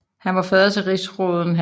Han var fader til rigsråden hr